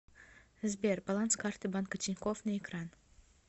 сбер баланс карты банка тинькофф на экран